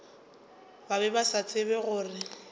be ba sa tsebe gore